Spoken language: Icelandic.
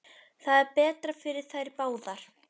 Það er betra fyrir þær báðar.